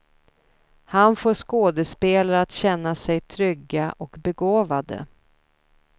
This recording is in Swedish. Han får skådespelare att känna sig trygga och begåvade.